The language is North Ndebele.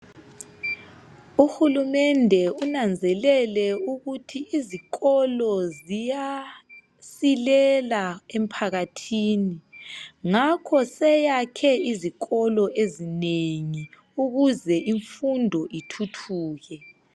Uhulumende unanzelele ukuthi izikolo ziyasilela emphakathini ngakho useyakhe izikolo ezinengi ukuze imfundo ithuthuke.